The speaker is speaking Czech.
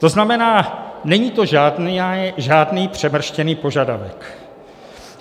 To znamená, není to žádný přemrštěný požadavek.